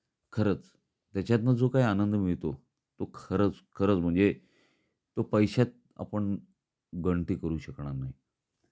खरंच त्याच्यातन जो काही आनंद मिळतो तो खरंच खरंच म्हणजे तो पैश्यात आपण गणती करू शकणार नाही.